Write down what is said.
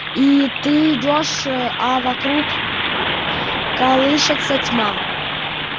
и ты идёшь а вокруг колышется тьма